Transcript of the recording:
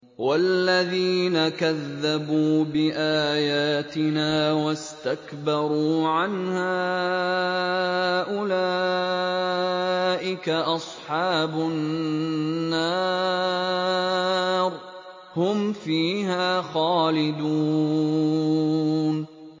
وَالَّذِينَ كَذَّبُوا بِآيَاتِنَا وَاسْتَكْبَرُوا عَنْهَا أُولَٰئِكَ أَصْحَابُ النَّارِ ۖ هُمْ فِيهَا خَالِدُونَ